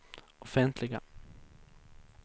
offentliga